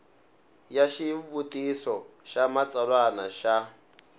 ya xivutiso xa xitsalwana xa